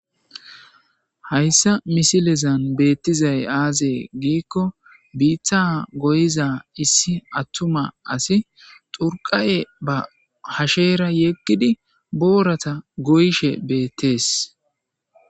Hayssa missilezan bettizay biita goyiza asay xurqqafe be hashe bolla woththidi boora goyishshe bettes.